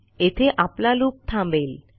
येथे आपला लूप थांबेल